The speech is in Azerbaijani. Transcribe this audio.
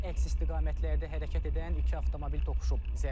Əks istiqamətlərdə hərəkət edən iki avtomobil toqquşub.